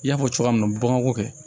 I y'a fɔ cogoya min na bamako kɛ